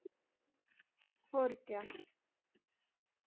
ਹੋਰ ਕਯਾ